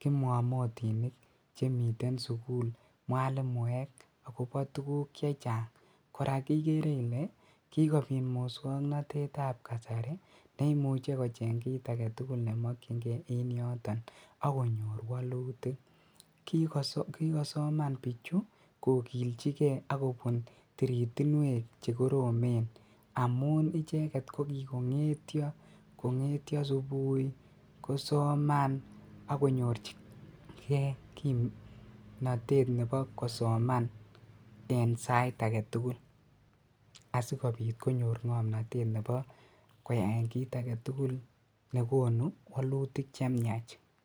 kimwomotinik chemiten sukul mwalimuek akobo tukuk chechang, kora ikeree ilee kikobit muswoknotetab kasari neimuche kocheng kiit aketugul nemokying'e en yoton akonyor wolutik, kikosoman bichu kokilchikee akobun tiritinwek chekoromen amuun icheket kokikong'etyo subuii kosoman akonyorchikee kimnotet nebo kosoman en sait aketukul asikobit konyor ng'omnotet nebo koyaen kiit aketukul nekonu wolutik chemiach.